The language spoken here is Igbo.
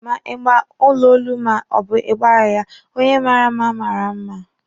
Ma ị gba ọla olu ma ọ bụ ị gbaghi ya, onye mara mma mara mma.